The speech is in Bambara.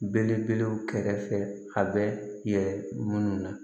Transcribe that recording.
Belebelew kɛrɛfɛ a bɛ yɛlɛ munnu na